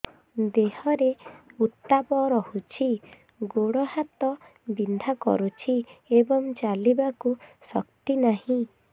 ଦେହରେ ଉତାପ ରହୁଛି ଗୋଡ଼ ହାତ ବିନ୍ଧା କରୁଛି ଏବଂ ଚାଲିବାକୁ ଶକ୍ତି ନାହିଁ